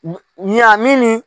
Ɲan min ni